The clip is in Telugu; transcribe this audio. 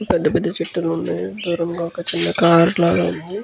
ఇక్కడ పెద్ద పెద్ద చెట్లు ఉన్నాయి. దూరంగా ఒక చిన్న కార్ లాగా ఉన్నాయి. .